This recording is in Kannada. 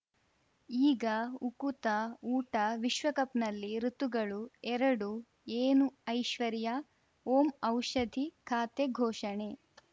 ಈಗ ಉಕುತ ಊಟ ವಿಶ್ವಕಪ್‌ನಲ್ಲಿ ಋತುಗಳು ಎರಡು ಏನು ಐಶ್ವರ್ಯಾ ಓಂ ಔಷಧಿ ಖಾತೆ ಘೋಷಣೆ